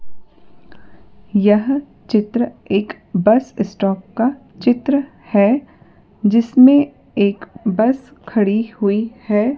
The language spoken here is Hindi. यह चित्र एक बस स्टॉप का चित्र है जिसमें एक बस खड़ी हुई है।